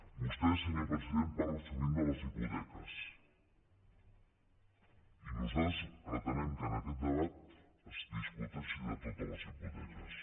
vostè senyor president parla sovint de les hipoteques i nosaltres pretenem que en aquest debat es discuteixi de totes les hipoteques